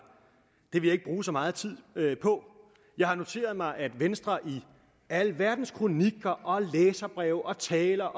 det vil jeg ikke bruge så meget tid på jeg har noteret mig at venstre i alverdens kronikker læserbreve taler